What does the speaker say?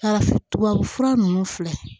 Yala tubabufura nunnu filɛ